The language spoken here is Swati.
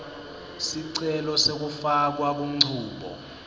sicelo sekufakwa kunchubo